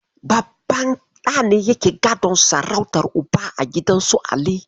Babban ɗa ne yake gadon sarautar Uba a gidan su Ali.